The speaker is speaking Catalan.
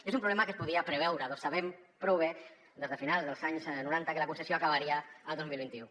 és un problema que es podia preveure perquè sabem prou bé des de finals dels anys noranta que la concessió acabaria el dos mil vint u